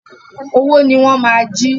Owó ni wọ́n máa jí.